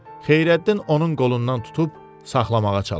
Xeyrəddin onun qolundan tutub saxlamağa çalışdı.